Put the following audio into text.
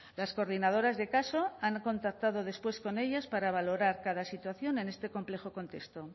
las coordinadoras de caso han contactado después con ellas para valorar cada situación en este complejo contexto